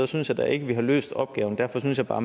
synes jeg da ikke at vi har løst opgaven derfor synes jeg bare